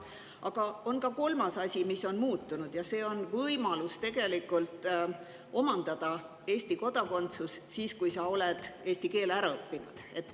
Aga on ka kolmas asi, mis on muutunud, ja see on võimalus omandada Eesti kodakondsus, kui sa oled eesti keele ära õppinud.